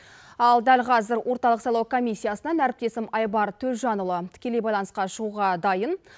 ал дәл қазір орталық сайлау комиссиясынан әріптесім айбар төлжанұлы тікелей байланысқа шығуға дайын